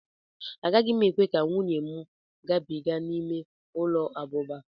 Agaghị m ekwe ka nwunye m gabiga n'ime ụlọ abụba.